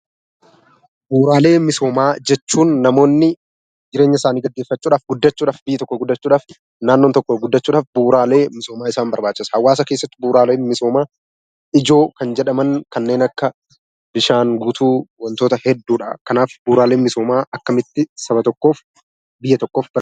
Bu'uuraalee misoomaa jechuun namoonni jireenya isaanii gaggeeffachuudhaaf, guddachuudhaaf, biyyi tokko guddachuudhaaf, naannoon tokko guddachuudhaaf bu'uuraalee misoomaa isaan barbaachisa. Hawaasa keessatti bu'uuraaleen misoomaa ijoo kan jedhaman kanneen akka bishaan guutuu, wantoota hedduudha. Kanaaf bu'uuraaleen misoomaa akkamitti saba tokkoof biyya tokkoof gargaaru?